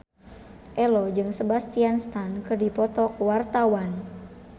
Ello jeung Sebastian Stan keur dipoto ku wartawan